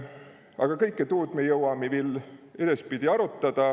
Aga kõkke tuud mi jõvvami edaspidi viil aruta.